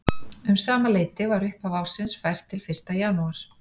Um sama leyti var upphaf ársins fært til fyrsta janúar.